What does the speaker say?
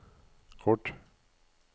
kort